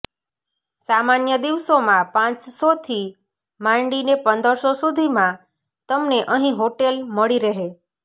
સામાન્ય દિવસોમાં પાંચસોથી માંડીને પંદરસો સુધીમાં તમને અહીં હોટેલ મળી રહે